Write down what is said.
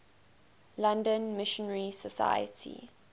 london missionary society